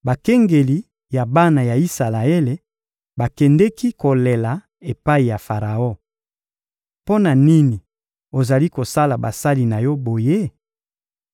Bakengeli ya bana ya Isalaele bakendeki kolela epai ya Faraon: — Mpo na nini ozali kosala basali na yo boye?